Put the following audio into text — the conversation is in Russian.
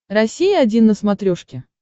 россия один на смотрешке